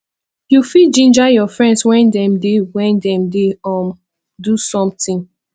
you fit ginger your friends when dem dey when dem dey um do something